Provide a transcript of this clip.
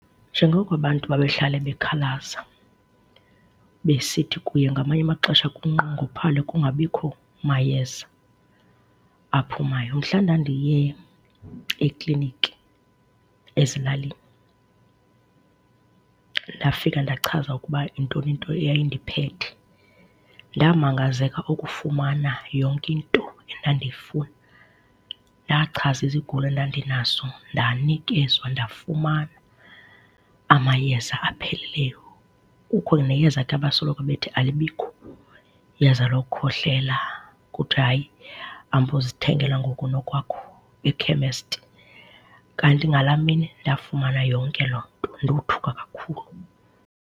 Njengoko abantu babehlala bekhalaza besithi kuye ngamanye amaxesha kunqongophale, kungabikho mayeza aphumayo, mhla ndandiye ekliniki ezilalini, ndafika ndachaza ukuba yintoni into eyayindiphethe, ndamangazeka ukufumana yonke into edandiyifuna. Ndachaza izigulo endandinazo, ndanikezwa ndafumana amayeza apheleleyo. Kukho neyeza ke abasoloko bethi alibikho iyeza lokukhohlela kuthwa hayi hamba uyozithengela ngokunokwakho ekhemesti, kanti ngala mini ndafumana yonke loo nto, ndothuka kakhulu.